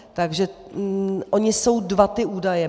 Takže ony jsou dva ty údaje.